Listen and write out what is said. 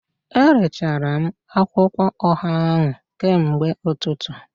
Erechara m akwụkwọ ọha ahụ kamgbe ụtụtụ